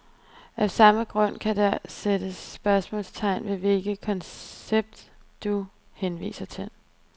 Af samme grund kan der sættes spørgsmålstegn ved hvilket koncept, du henviser til.